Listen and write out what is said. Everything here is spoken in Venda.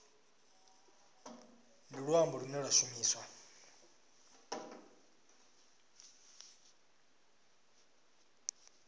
ndi luambo lune lwa shumiswa